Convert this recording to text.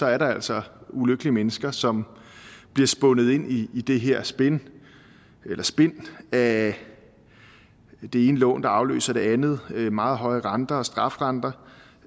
er der altså ulykkelige mennesker som bliver spundet ind i det her spind af det ene lån der afløser det andet med meget høje renter og strafrenter